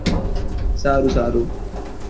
સારું સારું